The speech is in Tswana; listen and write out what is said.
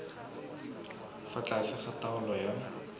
fa tlase ga taolo ya